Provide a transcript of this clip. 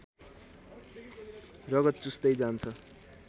रगत चुस्दै जान्छ